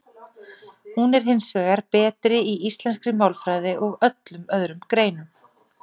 Hún er hins vegar betri í íslenskri málfræði og öllum öðrum greinum.